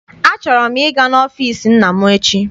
Achọrọ m ịga n'ọfịịsi nna m echi.